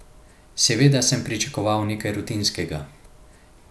Seveda sem pričakoval nekaj rutinskega.